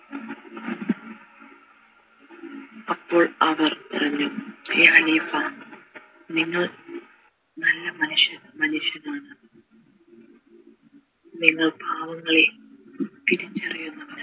അപ്പോൾ അവർ പറഞ്ഞു എ ഖലീഫ നിങ്ങൾ നല്ല മനുഷ്യനാണ് നിങ്ങൾ പാവങ്ങളെ തിരിച്ചറിയുന്നവനാണ്